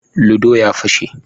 "Ludo " ya pashe.